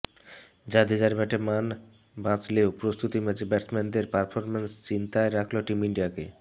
জাদেজার ব্যাটে মান বাঁচলেও প্রস্তুতি ম্যাচে ব্যাটসম্যানদের পারফরম্যান্স চিন্তায় রাখল টিম ইন্ডিয়াকে